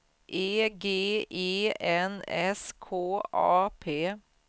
E G E N S K A P